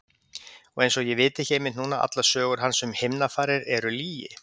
Og einsog ég viti ekki einmitt núna að allar sögur hans um himnafarir eru lygi.